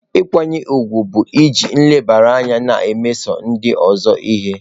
Nkwanye ùgwù bụ iji nlebara anya na-emeso ndị ọzọ ihe.